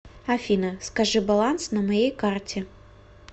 афина скажи баланс на моей карте